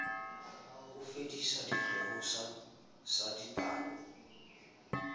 ho fedisa sekgeo sa dipalo